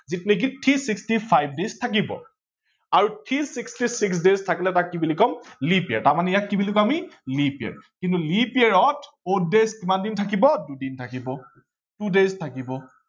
যত নেকি three sixty five days থাকিব আৰু three sixty six days থাকিলে তাক কি বুলি কম leap year তাৰমানে ইয়াক কি বুলি কম আমি leap year কিন্তু leap year ত odd days কিমান দিন থাকিব দুদিন থাকিব two days থাকিব